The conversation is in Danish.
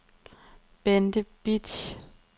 Bente Bitsch